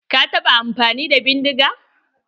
Ka taɓa amfani da bindiga?